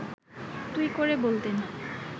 তুই করে বলতেন